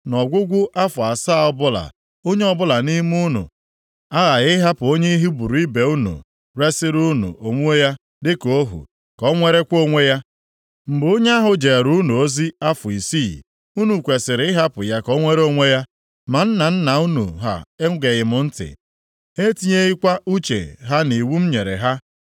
‘Nʼọgwụgwụ afọ asaa ọbụla, onye ọbụla nʼime unu aghaghị ịhapụ onye Hibru ibe unu resiri unu onwe ya dịka ohu, ka o nwerekwa onwe ya. Mgbe onye ahụ jeere unu ozi afọ isii, unu kwesiri ịhapụ ya ka o nwere onwe ya.’ Ma nna nna unu ha egeghị m ntị, ha etinyeghịkwa uche ha nʼiwu m nyere ha.